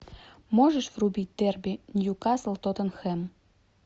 можешь врубить дерби ньюкасл тоттенхэм